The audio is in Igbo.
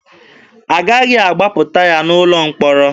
Agaghị agbapụta ya n'ụlọ mkpọrọ.